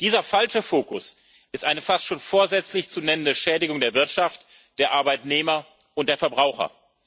Dieser falsche Fokus ist eine fast schon vorsätzlich zu nennende Schädigung der Wirtschaft, der Arbeitnehmer und der Verbraucher.